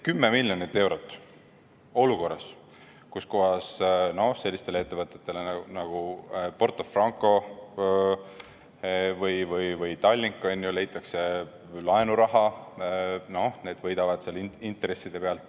Kümme miljonit eurot jääb puudu olukorras, kus sellistele ettevõtetele nagu Porto Franco või Tallink leitakse laenuraha.